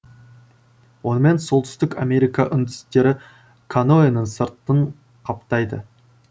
онымен солтүстік америка үндістері каноэның сыртын қаптайды